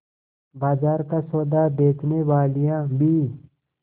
बाजार का सौदा बेचनेवालियॉँ भी